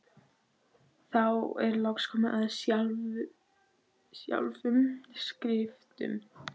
Þá er loks komið að sjálfum skriftunum.